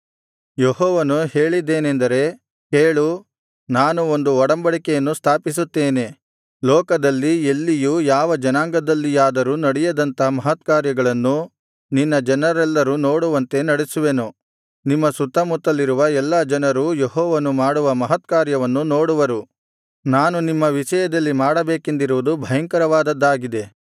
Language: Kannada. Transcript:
ಯೆಹೋವನು ಹೇಳಿದ್ದೇನೆಂದರೆ ಕೇಳು ನಾನು ಒಂದು ಒಡಂಬಡಿಕೆಯನ್ನು ಸ್ಥಾಪಿಸುತ್ತೇನೆ ಲೋಕದಲ್ಲಿ ಎಲ್ಲಿಯೂ ಯಾವ ಜನಾಂಗದಲ್ಲಿಯಾದರೂ ನಡೆಯದಂಥ ಮಹತ್ಕಾರ್ಯಗಳನ್ನು ನಿನ್ನ ಜನರೆಲ್ಲರು ನೋಡುವಂತೆ ನಡೆಸುವೆನು ನಿಮ್ಮ ಸುತ್ತಮುತ್ತಲಿರುವ ಎಲ್ಲಾ ಜನರೂ ಯೆಹೋವನು ಮಾಡುವ ಮಹತ್ಕಾರ್ಯವನ್ನು ನೋಡುವರು ನಾನು ನಿಮ್ಮ ವಿಷಯದಲ್ಲಿ ಮಾಡಬೇಕೆಂದಿರುವುದು ಭಯಂಕರವಾದದ್ದಾಗಿದೆ